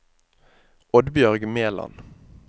Oddbjørg Meland